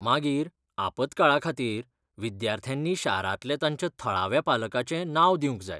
मागीर, आपत्काळाखातीर विद्यार्थ्यांनी शारांतल्या तांच्या थळाव्या पालकाचें नांव दिवंक जाय.